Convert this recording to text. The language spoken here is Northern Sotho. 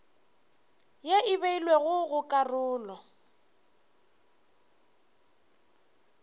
ye e beilwego go karolo